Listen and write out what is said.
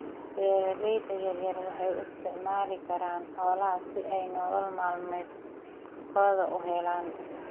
Beeralayda yaryar waxay u isticmaali karaan xoolaha si ay nolol maalmeedkooda u helaan.